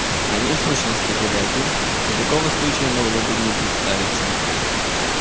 они в сущности были один и такого случая могло бы не представиться